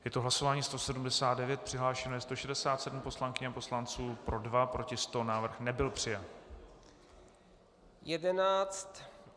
Je to hlasování 179, přihlášeno je 167 poslankyň a poslanců, pro 2, proti 100, návrh nebyl přijat.